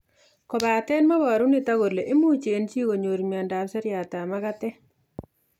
Kobate meboru nitok kole imuch eng' chi konyor miondop seriatab magatet